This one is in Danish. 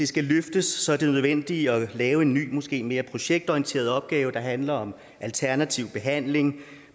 skal løftes er det nødvendigt at lave en ny og måske mere projektorienteret opgave der handler om alternativ behandling